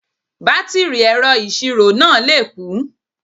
Bátìrì ẹ̀rọ ìṣirò náà lè kú